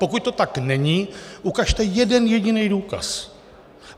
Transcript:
Pokud to tak není, ukažte jeden jediný důkaz.